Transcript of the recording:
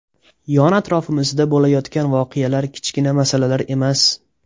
Yon-atrofimizda bo‘layotgan voqealar kichkina masalalar emas.